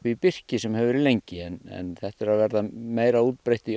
í birki sem hefur verið lengi en þetta er að verða meira útbreytt í